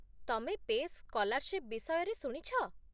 ତମେ ପେସ୍ ସ୍କଲାର୍ଶିପ୍ ବିଷୟରେ ଶୁଣିଛ ?